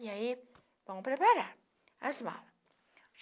E aí, vão preparar as malas.